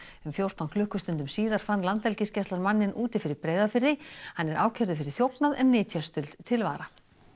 um fjórtán klukkustundum síðar fann Landhelgisgæslan manninn úti fyrir Breiðafirði hann er ákærður fyrir þjófnað en nytjastuld til vara